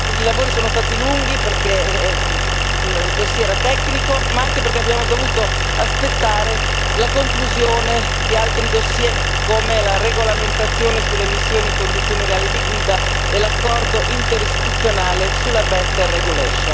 I lavori sono stati lunghi perché il dossier era tecnico ma anche perché abbiamo dovuto aspettare la conclusione di altri dossier, come la regolamentazione sulle emissioni in condizioni reali di guida e l'accordo interistituzionale Legiferare meglio.